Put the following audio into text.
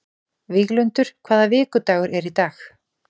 Víglundur, hvaða vikudagur er í dag?